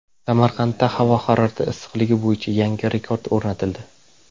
Samarqandda havo harorati issiqligi bo‘yicha yangi rekord o‘rnatildi.